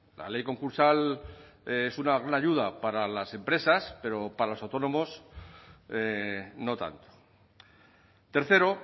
la ley concursal es una ayuda para las empresas pero para los autónomos no tanto tercero